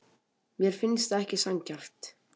Mér finnst það ekki sanngjarnt.